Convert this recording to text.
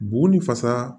Bugun ni fasa